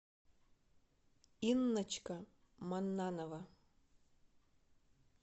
инночка маннанова